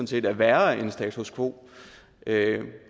set er værre end status quo